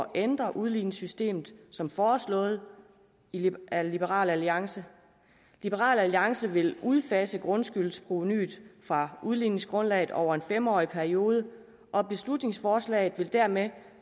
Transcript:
ændre udligningssystemet som foreslået af liberal alliance liberal alliance vil udfase grundskyldsprovenuet fra udligningsgrundlaget over en fem årig periode og beslutningsforslaget vil dermed